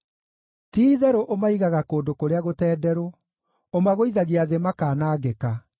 Ti-itherũ ũmaigaga kũndũ kũrĩa gũtenderũ; ũmagũithagia thĩ makaanangĩka.